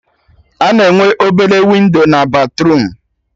A na-enwe obele windo na batruum